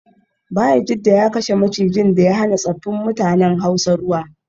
Bayajidda ya kashe macijin da ya hana tsaffin mutanen hausa ruwa